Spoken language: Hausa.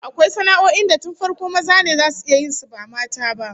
Akwai sana'o'in da tun farko maza ne zasu iya yin su, ba mata ba